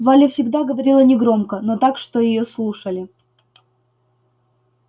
валя всегда говорила негромко но так что её слушали